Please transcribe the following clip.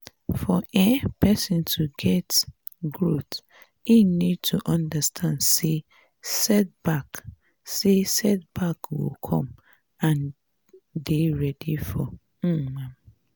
for um perosn to fit grow im need to understand sey set back sey set back go come and dey ready for um am